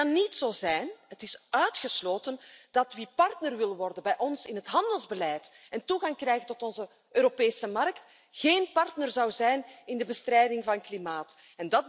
Het kan niet zo zijn, het is uitgesloten dat wie partner wil worden in ons handelsbeleid en toegang wil krijgen tot onze Europese markt, geen partner zou zijn in de bestrijding van klimaatverandering.